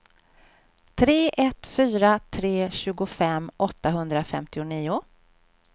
tre ett fyra tre tjugofem åttahundrafemtionio